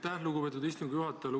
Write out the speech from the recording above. Aitäh, lugupeetud istungi juhataja!